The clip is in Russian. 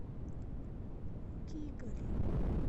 кигали